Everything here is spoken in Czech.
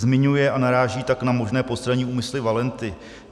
Zmiňuje a naráží tak na možné postranní úmysly Valenty.